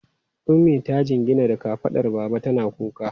Ummi ta jingina da kafadar baba tana kuka.